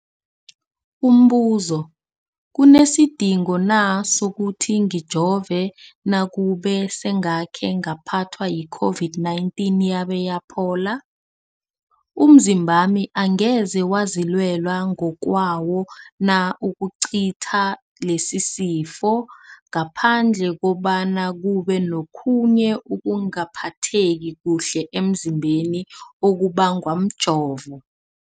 Umbuzo, kunesidingo na sokuthi ngijove nakube sengakhe ngaphathwa yi-COVID-19 yabe yaphola? Umzimbami angeze wazilwela ngokwawo na ukucitha lesisifo, ngaphandle kobana kube nokhunye ukungaphatheki kuhle emzimbeni okubangwa mjovo?